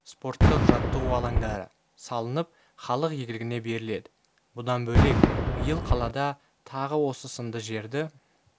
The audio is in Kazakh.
спорттық жаттығу алаңдары салынып халық игілігіне беріледі бұдан бөлек биыл қалада тағы осы сынды жерді